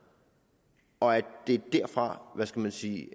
og at det er derfra hvad skal man sige